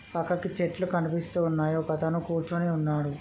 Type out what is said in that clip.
పక్కకి చెట్లు కనిపిస్తూ ఉన్నాయి. ఒక అతను కూర్చుని వున్నాడు.